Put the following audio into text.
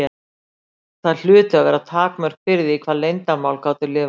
Það hlutu að vera takmörk fyrir því hvað leyndarmál gátu lifað lengi.